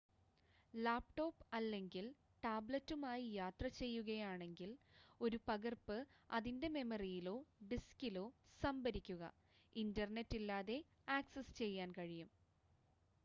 laptop അല്ലെങ്കിൽ ടാബ്‌ലെറ്റുമായി യാത്ര ചെയ്യുകയാണെങ്കിൽ ഒരു പകർപ്പ് അതിന്റെ മെമ്മറിയിലോ ഡിസ്കിലോ സംഭരിക്കുക ഇന്റർനെറ്റ് ഇല്ലാതെ ആക്സസ് ചെയ്യാൻ കഴിയും